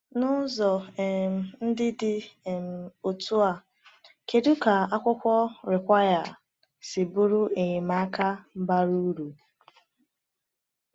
N’ụzọ um ndị dị um otú a, kedu ka akwụkwọ Require si bụrụ enyemaka bara uru?